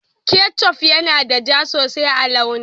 ketchuf yana da ja sosai a launi